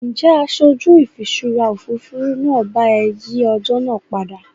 Ǹjẹ́ aṣojú ìfiṣúra Òfurufú náà bá ẹ yìí ọjọ́ náà padà?